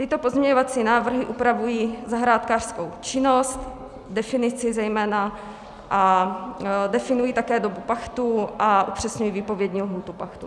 Tyto pozměňovací návrhy upravují zahrádkářskou činnost, definici zejména, a definují také dobu pachtu a upřesňují výpovědní lhůtu pachtu.